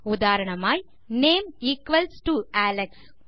உதாரணமாய் name equals to Alex